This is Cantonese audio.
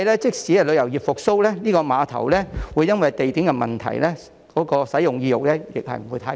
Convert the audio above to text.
即使旅遊業復蘇，估計也會因為這個碼頭的地點問題而導致使用意欲不太高。